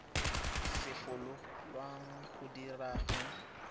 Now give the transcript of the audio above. solofelwang go di dira go